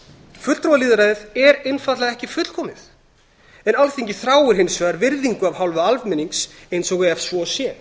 fulltrúalýðræðið er einfaldlega ekki fullkomið en alþingi þráir hins vegar virðingu af hálfu almennings eins og ef svo sé